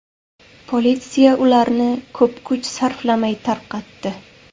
Politsiya ularni ko‘p kuch sarflamay tarqatdi.